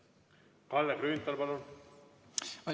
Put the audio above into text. Kalle Grünthal, palun!